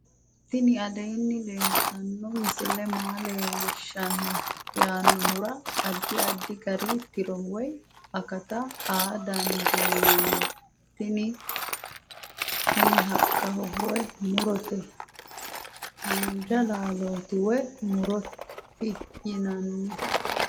tini aleenni leeltanno misile maa leellishshanno yaannohura addi addi gari tiro woy akata aa dandiinanni tini kuni haqqaho woy murote haanja laalchooti woy muroti yinanni